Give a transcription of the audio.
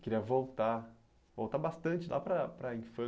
Queria voltar, voltar bastante lá para para a